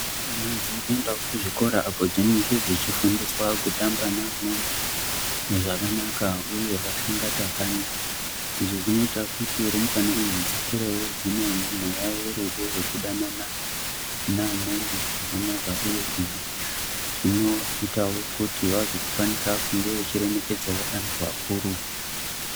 Rumbwana dzinoendawo kuzvikora apo dzinenge dzechifundiswa kutamba neamweni zvakanaka uye vasingatakani izvi zvinoita kuti rumbwana idzi dzikurewo dzine mweya werudo wekudanana neamweni zvakanaka uye zvinoitawo kuti vazokwanisa kunge vechiremekedzawo antu akuru.